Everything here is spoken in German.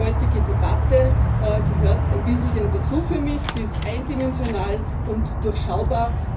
Die heutige Debatte gehört ein bisschen dazu für mich, sie ist eindimensional und durchschaubar.